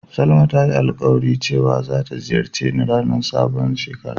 Salma ya yi alkawali cewa zai ziyace ni a ranan sabon shekara.